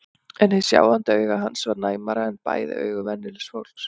En hið sjáandi auga hans var næmara en bæði augu venjulegs fólks.